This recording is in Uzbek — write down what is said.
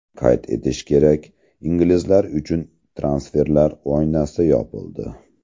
Qayd etish kerak, inglizlar uchun transferlar oynasi yopildi.